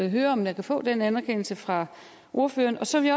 høre om jeg kan få den anerkendelse fra ordføreren så vil